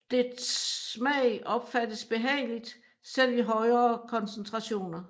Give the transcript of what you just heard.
Dets smag opfattes behageligt selv i højere koncentrationer